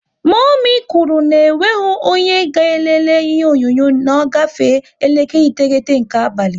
Momi kwuru na onweghi onye ga elele ihe onyonyo na ọ gafe elekere iteghete nke abalị